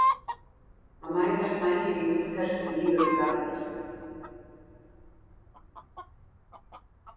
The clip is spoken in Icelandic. Þá mætast Vængir Júpíters og Víðir úr Garði.